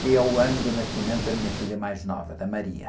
que é o ano do nascimento da minha filha mais nova, da Maria.